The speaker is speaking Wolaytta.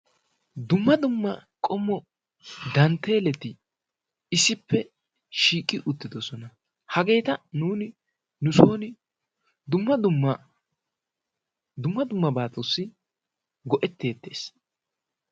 Dumma dumma qommo dantteeleti issippe shiiqi uttidosona. hageeta nuuni nusoni dumma dummabatussi go"ettetees.